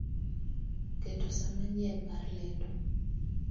keto sa manyien mar lendo